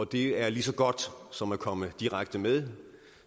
det er lige så godt som at komme direkte med